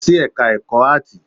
Lọ sí ẹka ẹ̀kọ́ áàtì!